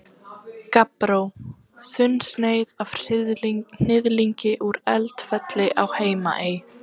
Gabbró, þunnsneið af hnyðlingi úr Eldfelli á Heimaey.